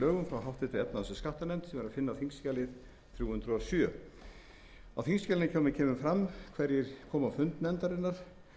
átta tvö þúsund og fimm og fleiri lögum í þingskjalinu kemur fram hverjir komu á fund nefndarinnar